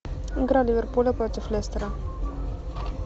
игра ливерпуля против лестера